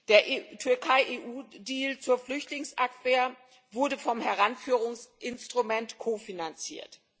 Der Türkei EU Deal zur Flüchtlingsabwehr wurde vom Heranführungsinstrument kofinanziert.